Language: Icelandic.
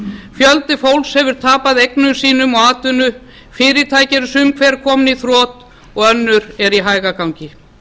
fjöldi fólks hefur tapað eignum sínum og atvinnu fyrirtæki eru sum hver komin í þrot og önnur eru í hægagangi